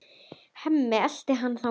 Hemmi eltir hana þangað.